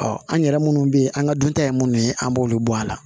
an yɛrɛ munnu bɛ ye an ka dunta ye minnu ye an b'olu bɔ a la